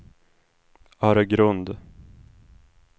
Öregrund